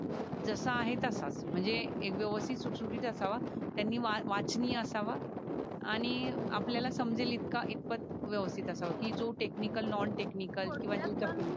जसा आहे तसच म्हणजे एक व्यवस्थित सुत सुटीत असावा. त्यांनी वाचनीय असावा आणि आपल्या ला समजेल इथका इथपात व्यवस्थित असावा कि जो टेक्निकल नॉलेज किवा नॉन टेक्निकल